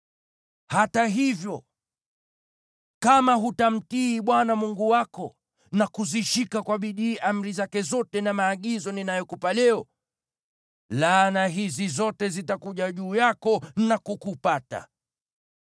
Hata hivyo, kama hutamtii Bwana Mungu wako na kuzishika kwa bidii amri zake zote na maagizo ninayokupa leo, laana hizi zote zitakuja juu yako na kukupata: